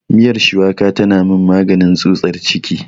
Miyar shuwaka tana min maganin tsutsar ciki.